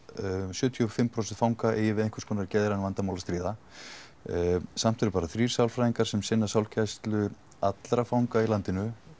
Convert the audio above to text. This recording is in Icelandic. sjötíu og fimm prósent fanga eigi við einhverskonar geðræn vandamál að stríða en samt eru bara þrír sálfræðingar sem sinna sálgæslu allra fanga í landinu